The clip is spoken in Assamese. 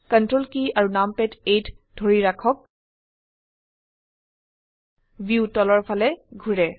ctrl কী আৰু নামপাদ 8 ধৰি ৰাখক ভিউ তলৰ ফালে ঘোৰে